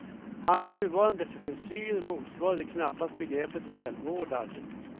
Hans nuvarande frisyr motsvarar knappast begreppet välvårdad.